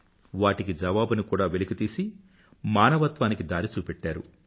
వాటికి జవాబుని కూడా వెలికితీసి మానవత్వానికి దారి చూపెట్టారు